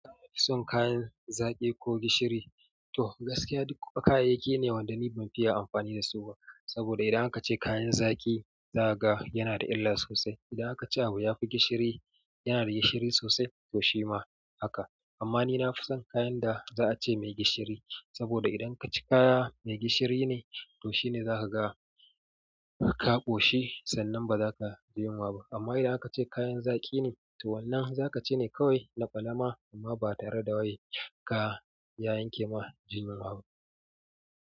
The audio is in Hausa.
Son kayan zaƙi ko gishiri? To gaskiya duk kayayyaki ne wanda ni ban fiya amfani dasu ba. Saboda idan aka ce kayan zaƙi za ka ga yana da illa sosai. Idan akace abu yafi gishiri, yana da gishiri sosai to shima haka amma ni na fi son kayan da za a ce mai gishiri. Saboda idan ka ci kaya mai gishiri ne to shine za ka ga ka ƙoshi sannan ba za ka ji yunwa ba. Amma idan aka ce kayan zaƙi ne, to wannan za ka ci ne kawai na ƙwalama amma ba tare da wai ka ya yanke ma jin yunwa ba.